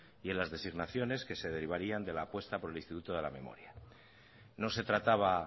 y en las designaciones que se derivarían de la apuesta por el instituto de la memoria no se trataba